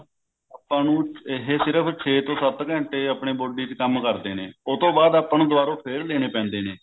ਆਪਾਂ ਨੂੰ ਇਹ ਸਿਰਫ ਛੇ ਤੋਂ ਸੱਤ ਘੰਟੇ ਆਪਣੀ body ਚ ਕੰਮ ਕਰਦੇ ਨੇ ਉਹ ਤੋਂ ਬਾਅਦ ਆਪਾਂ ਨੂੰ ਦਵਾਰੋ ਫੇਰ ਲੇਣੇ ਪੈਦੇ ਨੇ